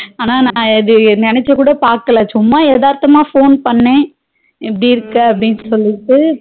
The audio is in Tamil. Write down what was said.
ஆனா நா எது நினட்சிக்கூட பாக்கல சும்மா எதர்த்தாம phone பண்ண எப்பிடி இருக்க அப்டினு சொல்லிட்டு